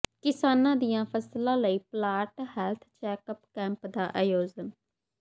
ਕਿਸਾਨਾਂ ਦੀਆਂ ਫਸਲਾਂ ਲਈ ਪਲਾਂਟ ਹੈਲਥ ਚੈੱਕਅੱਪ ਕੈਂਪ ਦਾ ਆਯੋਜਨ